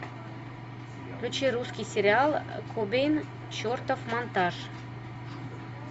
включи русский сериал кобейн чертов монтаж